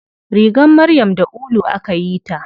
Rigar maryam da ulu akayi ta.